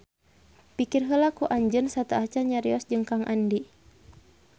Pikir heula ku anjeun sateuacan nyarios jeung Kang Andi